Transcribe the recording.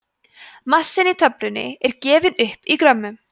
massinn í töflunni er gefinn upp í grömmum